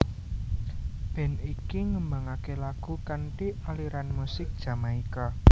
Band iki nembangaké lagu kanthi aliran musik Jamaika